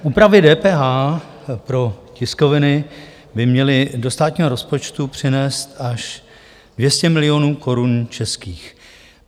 Úpravy DPH pro tiskoviny by měly do státního rozpočtu přinést až 200 milionů korun českých.